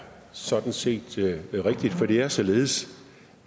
sådan set rigtigt for det er således